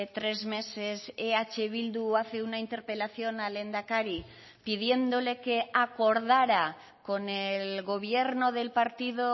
tres meses eh bildu hace una interpelación al lehendakari pidiéndole que acordara con el gobierno del partido